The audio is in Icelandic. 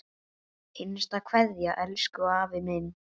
HINSTA KVEÐJA Elsku afi minn.